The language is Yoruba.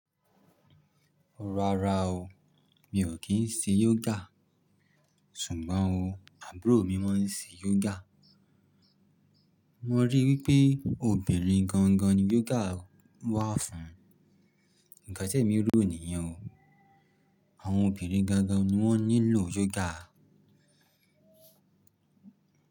Rárá o, mi ò kí ń ṣe yoga. Ṣùgbọ́n o, àbúrò mi mọ́ ń ṣe yoga. Mo rí wípé obìnrin gan gan ni yoga wà fún. Ǹnkan ti èmi ro nìyen o. Àwọn obìnrin gan gan ni wọ́n nílò yoga.